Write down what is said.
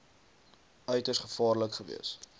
uiters gevaarlik gewees